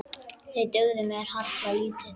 Þeir dugðu mér harla lítið.